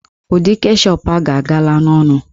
Ụdị keshọp a ga-agala ọnụ